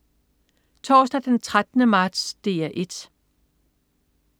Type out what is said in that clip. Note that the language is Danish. Torsdag den 13. marts - DR 1: